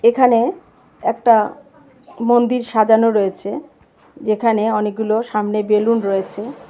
এখানে একটা মন্দির সাজানো রয়েছে যেখানে অনেকগুলো সামনে বেলুন রয়েছে.